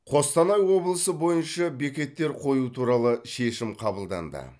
қостанай облысы бойынша бекеттер қою туралы шешім қабылданды